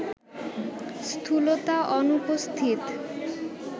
স্থূলতা অনুপস্থিত